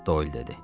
Doyl dedi.